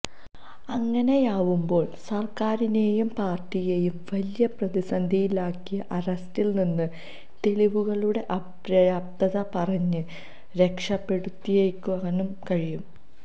അങ്ങനെയാവുമ്പോള് സര്ക്കാരിനേയും പാര്ട്ടിയേയും വലിയ പ്രതിസന്ധിയിലാക്കിയ അറസ്റ്റില് നിന്ന് തെളിവുകളുടെ അപര്യാപ്തത പറഞ്ഞ് രക്ഷപ്പെടുത്തിയെടുക്കാനും കഴിയും